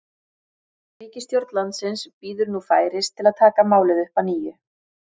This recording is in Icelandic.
Ríkisstjórn landsins bíður nú færis til að taka málið upp að nýju.